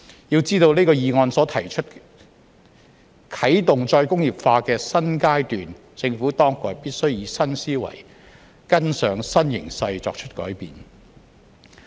要知道這項議案所提出"啟動"再工業化的"新階段"，政府當局必須以新思維、跟上新形勢作出改變。